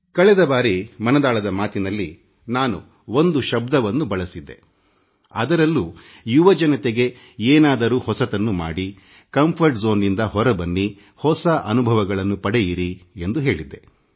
ಕಳೆದ ಬಾರಿ ಮನದಾಳದ ಮಾತಿನಲ್ಲಿ ನಾನು ಒಂದು ಹೊಸ ಶಬ್ದವನ್ನು ಬಳಸಿದ್ದೆ ಅದರಲ್ಲೂ ಯುವಜನತೆಗೆ ಏನಾದರೂ ಹೊಸತನ್ನು ಮಾಡಿಸುರಕ್ಷಿತ ವಲಯ ಕಂಫರ್ಟ್ zoneದಿಂದ ಹೊರಬನ್ನಿ ಹೊಸ ವಿಷಯಗಳ ಅನುಭವಗಳನ್ನು ಪಡೆಯಿರಿ ಎಂದು ಹೇಳಿದ್ದೆ